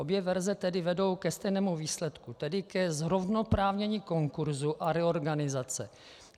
Obě verze tedy vedou ke stejnému výsledku, tedy ke zrovnoprávnění konkurzu a reorganizace.